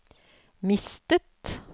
mistet